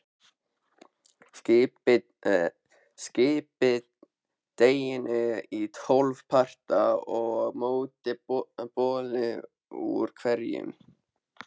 Skiptið deiginu í tólf parta og mótið bollu úr hverjum.